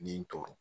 Nin tɔɲɔgɔn